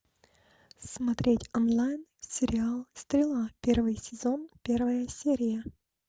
смотреть онлайн сериал стрела первый сезон первая серия